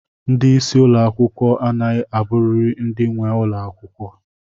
Ndị isi ụlọ akwụkwọ a naghị aburiri ndị nwe ụlọ akwụkwọ.